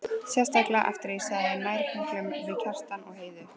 Sérstaklega eftir að ég gerðist nærgöngul við Kjartan og Heiðu.